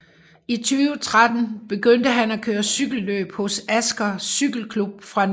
I 2013 begyndte han at køre cykelløb hos Asker Cykleklubb fra nabokommunen Asker